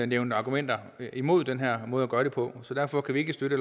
nævnt argumenter imod den her måde at gøre det på så derfor kan vi ikke støtte